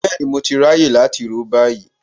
Bẹ́ẹ̀ni mo ti ráyè láti ró báyìí